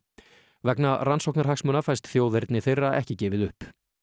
vegna rannsóknarhagsmuna fæst þjóðerni þeirra ekki gefið upp